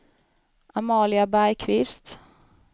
Amalia Bergkvist